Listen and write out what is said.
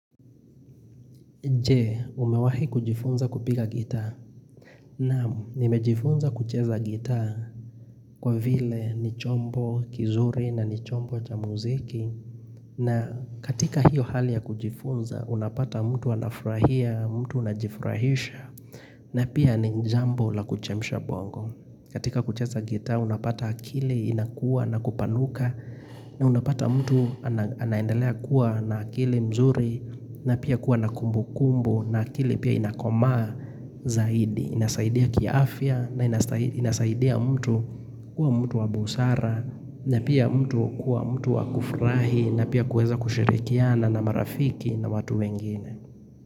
Je, umewahi kujifunza kupiga gitaa. Naam, nimejifunza kucheza gitaa kwa vile ni chombo kizuri na ni chombo cha muziki. Na katika hiyo hali ya kujifunza, unapata mtu anafurahia, mtu unajifurahisha, na pia ni jambo la kuchemsha bongo. Katika kucheza gitaa, unapata akili inakua na kupanuka, na unapata mtu anaendalea kuwa na akili mzuri na pia kuwa na kumbu kumbu na akili pia inakomaa zaidi inasaidia kiafya na inasaidia mtu kuwa mtu wa busara na pia mtu kuwa mtu wa kufurahi na pia kuweza kushirikiana na marafiki na watu wengine.